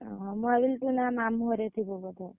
ଓହୋ, ମୁଁ ଭାବିଲି ତୁ ଏଇନା ମାମୁ ଘରେ ଥିବୁ ବୋଧେ।